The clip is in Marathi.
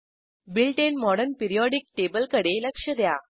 बिल्ट इन मॉडर्न पिरियोडिक टेबलकडे लक्ष द्या